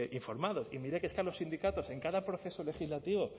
informados y mire que es que a los sindicatos en cada proceso legislativo